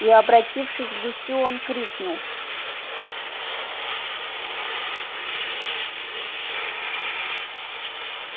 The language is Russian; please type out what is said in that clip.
и обратившись к гусю он крикнул